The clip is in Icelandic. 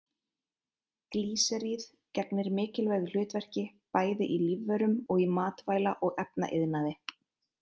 Glýseríð gegnir mikilvægu hlutverki bæði í lífverum og í matvæla- og efnaiðnaði.